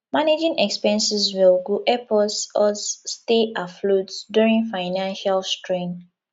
managing expenses well go help us us stay afloat during financial strain